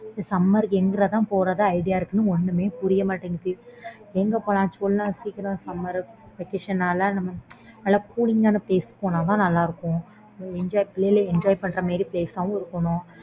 summer க்கு எங்க தான் போறத இருக்குன்னு ஒண்ணுமே புரிய மாட்டுது எங்க போல சொல்லேன் சீக்கரம் summer vacation நல்ல cooling ஆன place க்கு போனா தான் நல்ல இருக்கும் பிள்ளைன்க enjoy பண்ற மாதிரி place ஆவும் இருக்கணும்